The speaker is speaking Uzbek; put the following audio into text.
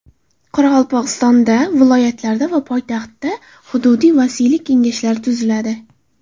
Qoraqalpog‘istonda, viloyatlarda va poytaxtda hududiy vasiylik kengashlari tuziladi.